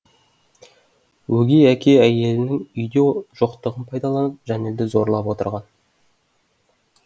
өгей әке әйелінің үйде жоқтығын пайдаланып жәнелді зорлап отырған